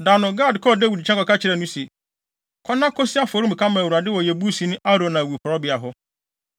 Da no, Gad kɔɔ Dawid nkyɛn kɔka kyerɛɛ no se, “Kɔ na kosi afɔremuka ma Awurade wɔ Yebusini Arauna awiporowbea hɔ.”